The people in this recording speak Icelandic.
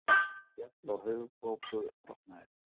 Féll og höfuðkúpubrotnaði